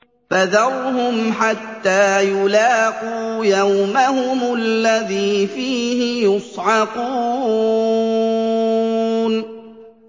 فَذَرْهُمْ حَتَّىٰ يُلَاقُوا يَوْمَهُمُ الَّذِي فِيهِ يُصْعَقُونَ